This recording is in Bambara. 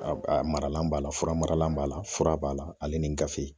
Maralan b'a la ,fura maralan b'a la fura b'a la ale ni gafe.